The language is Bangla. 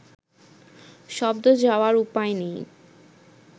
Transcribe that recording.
শব্দ যাওয়ার উপায় নেই